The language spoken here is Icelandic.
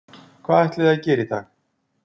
Hvað ætlið þið að gera í dag?